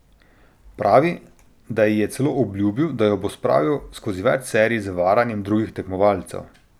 Pravi, da ji je celo obljubil, da jo bo spravil skozi več serij z varanjem drugih tekmovalcev.